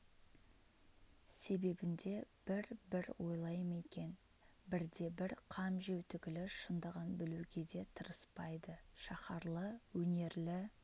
себебін де бір-бір ойлай ма екен бірде-бір қам жеу түгілі шындығын білуге де тырыспайды шаһарлы өнерлі